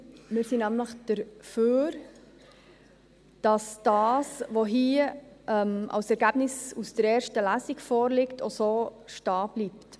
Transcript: Wir sind nämlich dafür, dass das, was hier als Ergebnis aus der ersten Lesung vorliegt, auch so stehen bleibt.